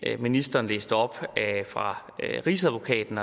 ministeren læste op fra rigsadvokaten